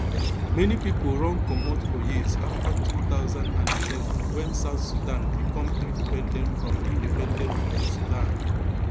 many pipo run comot for years afta two thousand and eleven wen south sudan become independent from independent from sudan